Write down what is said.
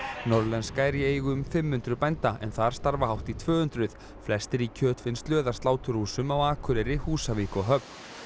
norðlenska er í eigu um fimm hundruð bænda en þar starfa hátt í tvö hundruð flestir í kjötvinnslu eða sláturhúsum á Akureyri Húsavík og Höfn